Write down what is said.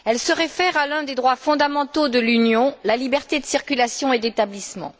Elle se réfère à l'un des droits fondamentaux de l'Union la liberté de circulation et d'établissement.